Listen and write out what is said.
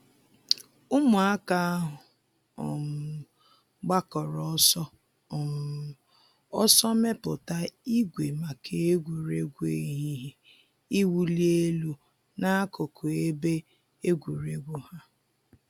Ụmụaka ahụ um gbakọrọ ọsọ um ọsọ mepụta ìgwè maka egwuregwu ehihie iwuli elu n'akụkụ ebe egwuregwu ha.